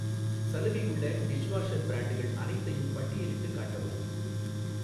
சலுகை உள்ள டிஷ்வாஷர் பிரான்ட்கள் அனைத்தையும் பட்டியலிட்டுக் காட்டவும்.